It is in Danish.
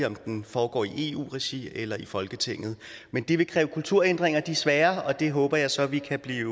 om den foregår i eu regi eller i folketinget men det vil kræve kulturændringer og de er svære og det håber jeg så at vi kan blive